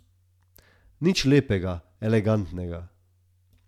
Nič lepega, elegantnega.